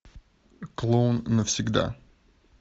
клоун навсегда